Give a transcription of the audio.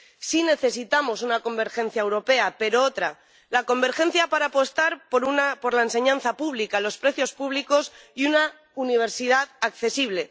Sí necesitamos una convergencia europea, pero otra la convergencia para apostar por la enseñanza pública, los precios públicos y una universidad accesible